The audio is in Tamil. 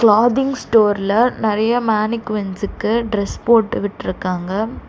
கிளாத்திங் ஸ்டோர்ல நெறைய மேனிகுவின்ஸ்க்கு டிரஸ் போட்டு விட்ருக்காங்க.